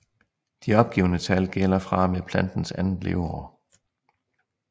De opgivne tal gælder fra og med plantens andet leveår